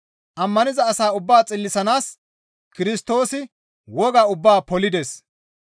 Ammaniza asaa ubbaa xillisanaas Kirstoosi woga ubbaa polides.